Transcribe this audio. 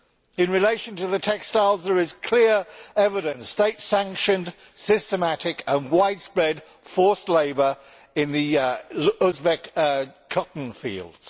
In relation to the textiles, there is clear evidence of state sanctioned, systematic and widespread forced labour in the Uzbek cotton fields.